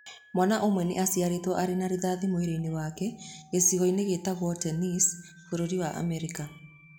Mwana ũmwe nĩ aciarĩitwo arĩ na rithathi mwĩrĩ-inĩ wake gĩcigo-inĩ gĩtagwo Tennessee Bũrũri wa Amerika..